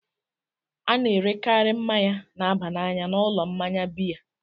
A na-erekarị mmanya na-aba n'anya n'ụlọ mmanya biya.